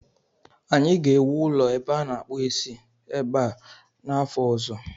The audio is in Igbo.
Anyị ga-ewu ụlọ ebe a na-akpụ isi ebe a n'afọ ọzọ